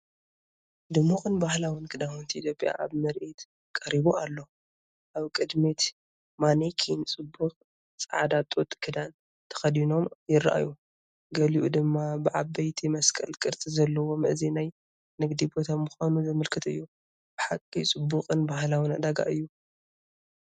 ድሙቕን ባህላዊን ክዳውንቲ ኢትዮጵያ ኣብ ምርኢት ቀሪቡ ኣሎ! ኣብ ቅድሚት ማኔኪን ጽቡቕ ጻዕዳ ጡጥ ክዳን ተኸዲኖም ይረኣዩ። ገሊኡ ድማ ብዓበይቲ መስቀል ቅርጺ ዘለዎም፤ እዚ ናይ ንግዲ ቦታ ምዃኑ ዘመልክት እዩ። ብሓቂ ጽቡቕን ባህላዊን ዕዳጋ እዩ!